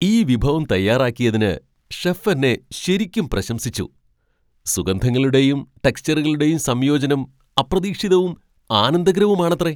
ഈ വിഭവം തയ്യാറാക്കിയതിന് ഷെഫ് എന്നെ ശരിക്കും പ്രശംസിച്ചു, സുഗന്ധങ്ങളുടെയും ടെക്സ്ചറുകളുടെയും സംയോജനം അപ്രതീക്ഷിതവും ആനന്ദകരവുമാണത്രേ.